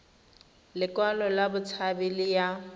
lekwalo la botshabi le ya